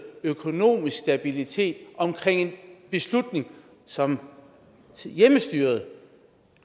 økonomisk stabilitet omkring en beslutning som hjemmestyret